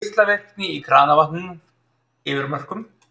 Geislavirkni í kranavatni yfir mörkum